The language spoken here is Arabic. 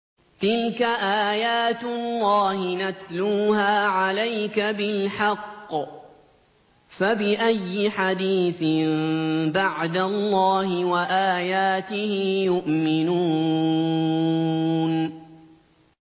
تِلْكَ آيَاتُ اللَّهِ نَتْلُوهَا عَلَيْكَ بِالْحَقِّ ۖ فَبِأَيِّ حَدِيثٍ بَعْدَ اللَّهِ وَآيَاتِهِ يُؤْمِنُونَ